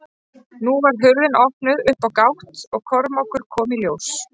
Nú var hurðin opnuð upp á gátt og Kormákur kom í ljós.